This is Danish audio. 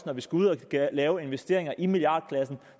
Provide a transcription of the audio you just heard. når vi skal ud at lave investeringer i milliardklassen